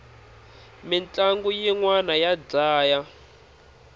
mintlangu yinwani ya dlaya